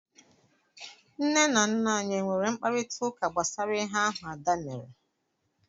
Nne na nna anyị enwere mkparịtaụka gbasara ihe ahụ Ada mere?